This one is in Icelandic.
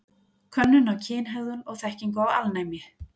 Könnun á kynhegðun og þekkingu á alnæmi.